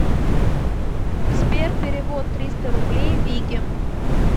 сбер перевод триста рублей вике